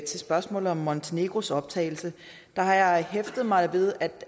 til spørgsmålet om montenegros optagelse har jeg hæftet mig ved at